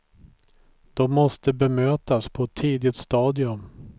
De måste bemötas på ett tidigt stadium.